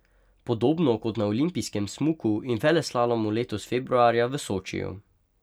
Podobno kot na olimpijskem smuku in veleslalomu letos februarja v Sočiju.